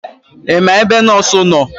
Ima ebe nọọsụ nọọ?